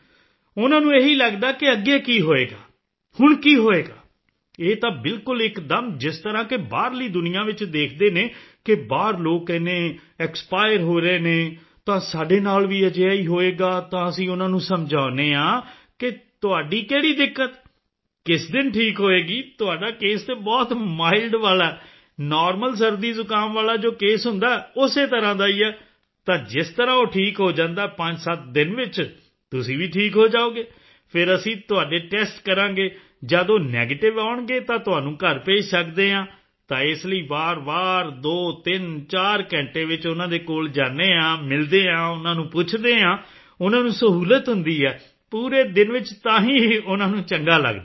ਉਨ੍ਹਾਂ ਨੂੰ ਇਹੀ ਲੱਗਦਾ ਹੈ ਕਿ ਅੱਗੇ ਕੀ ਹੋਵੇਗਾ ਹੁਣ ਕੀ ਹੋਵੇਗਾ ਇਹ ਤਾਂ ਬਿਲਕੁਲ ਇੱਕਦਮ ਜਿਸ ਤਰ੍ਹਾਂ ਕਿ ਬਾਹਰਲੀ ਦੁਨੀਆਂ ਵਿੱਚ ਦੇਖਦੇ ਹਨ ਕਿ ਬਾਹਰ ਲੋਕ ਇੰਨੇ ਐਕਸਪਾਇਰ ਹੋ ਰਹੇ ਨੇ ਤਾਂ ਸਾਡੇ ਨਾਲ ਵੀ ਅਜਿਹਾ ਹੀ ਹੋਵੇਗਾ ਤਾਂ ਅਸੀਂ ਉਨ੍ਹਾਂ ਨੂੰ ਸਮਝਾਉਂਦੇ ਹਾਂ ਕਿ ਤੁਹਾਡੀ ਕਿਹੜੀ ਦਿੱਕਤ ਕਿਸ ਦਿਨ ਠੀਕ ਹੋਵੇਗੀ ਤੁਹਾਡਾ ਕੇਸ ਬਹੁਤ ਮਾਈਲਡ ਵਾਲਾ ਹੈ ਨੌਰਮਲ ਸਰਦੀਜ਼ੁਕਾਮ ਵਾਲਾ ਜੋ ਕੇਸ ਹੁੰਦਾ ਹੈ ਉਸੇ ਤਰ੍ਹਾਂ ਦਾ ਹੈ ਤਾਂ ਜਿਸ ਤਰ੍ਹਾਂ ਉਹ ਠੀਕ ਹੋ ਜਾਂਦਾ ਹੈ 57 ਦਿਨ ਵਿੱਚ ਤੁਸੀਂ ਵੀ ਠੀਕ ਹੋ ਜਾਓਗੇ ਫਿਰ ਅਸੀਂ ਤੁਹਾਡੇ ਟੈਸਟ ਕਰਾਂਗੇ ਜਦ ਉਹ ਨੈਗੇਟਿਵ ਆਉਣਗੇ ਤਾਂ ਤੁਹਾਨੂੰ ਘਰ ਭੇਜ ਸਕਦੇ ਹਾਂ ਤਾਂ ਇਸ ਲਈ ਵਾਰਵਾਰ 234 ਘੰਟੇ ਵਿੱਚ ਉਨ੍ਹਾਂ ਦੇ ਕੋਲ ਜਾਂਦੇ ਹਾਂ ਮਿਲਦੇ ਹਾਂ ਉਨ੍ਹਾਂ ਨੂੰ ਪੁੱਛਦੇ ਹਾਂ ਉਨ੍ਹਾਂ ਨੂੰ ਸਹੂਲਤ ਹੁੰਦੀ ਹੈ ਪੂਰੇ ਦਿਨ ਵਿੱਚ ਤਾਂ ਹੀ ਉਨ੍ਹਾਂ ਨੂੰ ਚੰਗਾ ਲੱਗਦਾ ਹੈ